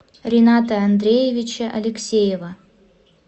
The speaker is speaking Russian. рината андреевича алексеева